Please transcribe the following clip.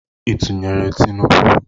Ị tụnyeere Tinubu?